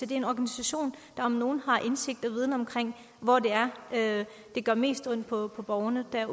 det er en organisation der om nogen har indsigt i og viden om hvor det er det gør mest ondt på borgerne der